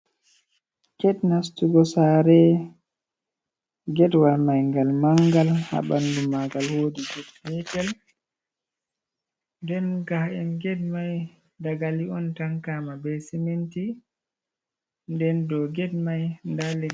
Get nastugo sare, geɗwal mai ngal mangal, ha ɓanɗu magal wodi get petel, den ga’en ged mai daga li'on tankama be sementi, nden dou ged mai led.